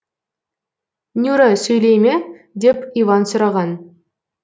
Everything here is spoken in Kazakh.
нюра сөйлей ме деп иван сұраған